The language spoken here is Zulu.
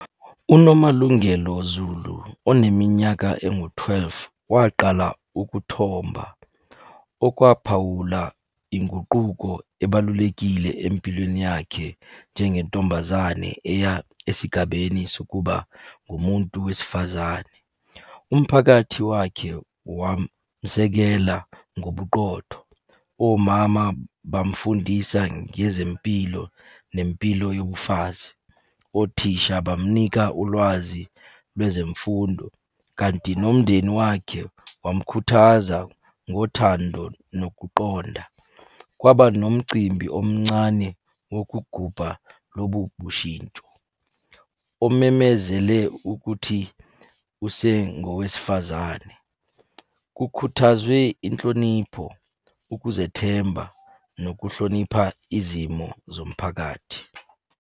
UNomalungelo Zulu, oneminyaka engu-twelve, waqala ukuthomba. Okwaphawula inguquko ebalulekile empilweni yakhe njengentombazane eya esigabeni sokuba ngumuntu wesifazane. Umphakathi wakhe wamusekela ngobuqotho. Omama bamufundisa ngezempilo nempilo yobufazi. Othisha bamnika ulwazi lwezemfundo, kanti nomndeni wakhe wamukhuthaza ngothando nokuqonda. Kwaba nomcimbi omncane wokugubha lobu bushintsho. Omemezele ukuthi usengowesifazane. Kukhuthazwe inhlonipho, ukuzethemba, nokuhlonipha izimo zomphakathi.